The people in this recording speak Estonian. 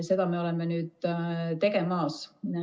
Seda me oleme nüüd tegemas.